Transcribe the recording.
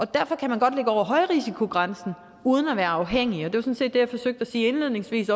derfor kan man godt ligge over højrisikogrænsen uden at være afhængig og sådan set det jeg forsøgte at sige indledningsvis